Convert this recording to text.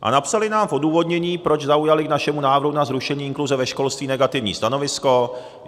A napsali nám v odůvodnění, proč zaujali k našemu návrhu na zrušení inkluze ve školství negativní stanovisko.